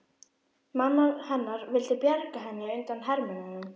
Amma hennar vildi bjarga henni undan hermönnunum.